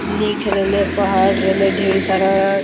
लिख रेले पहाड़ रेले ढेर सारा--